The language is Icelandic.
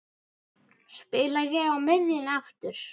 Spila ég á miðjunni aftur?